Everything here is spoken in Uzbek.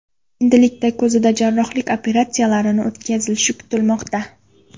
Endilikda ko‘zida jarrohlik operatsiyalarini o‘tkazilishi kutilmoqda.